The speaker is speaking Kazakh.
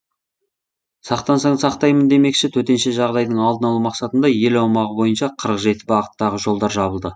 сақтансаң сақтаймын демекші төтенше жағдайдың алдын алу мақсатында ел аумағы бойынша қырық жеті бағыттағы жолдар жабылды